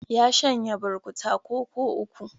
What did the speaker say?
Ya shanye burkuta koko uku.